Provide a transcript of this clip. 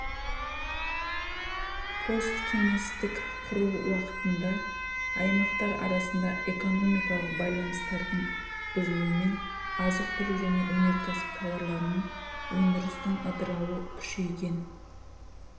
посткеңестік құру уақытында аймақтар арасында экономикалық байланыстардың бұзылуымен азық-түлік және өнеркәсіп тауарларының өндірістің ыдырауы күшейген